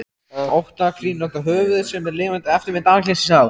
ótta kringlótta höfuð sem er lifandi eftirmynd andlitsins á